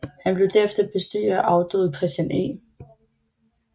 Han blev derefter bestyrer af afdøde Christian E